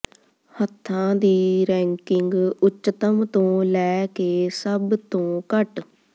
ਹੱਥਾਂ ਦੀ ਰੈਂਕਿੰਗ ਉੱਚਤਮ ਤੋਂ ਲੈ ਕੇ ਸਭ ਤੋਂ ਘੱਟ